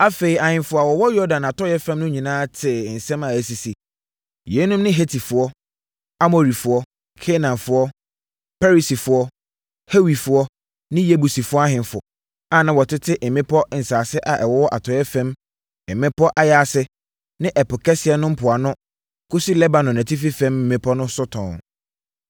Afei, ahemfo a wɔwɔ Yordan atɔeɛ fam no nyinaa tee nsɛm a asisi. (Yeinom ne Hetifoɔ, Amorifoɔ, Kanaanfoɔ, Perisifoɔ, Hewifoɔ ne Yebusifoɔ ahemfo a na wɔtete mmepɔ nsase a ɛwɔ atɔeɛ fam mmepɔ ayaase ne Ɛpo Kɛseɛ no mpoano kɔsi Lebanon atifi fam mmepɔ so tɔnn.)